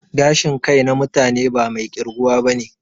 Gashin kai na mutane ba mai ƙirguwa bane